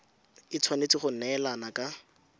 e tshwanetse go neelana ka